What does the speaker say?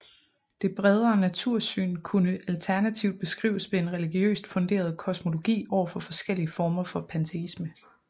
Det bredere natursyn kunne alternativt beskrives ved en religiøst funderet Kosmologi over for forskellige former for Panteisme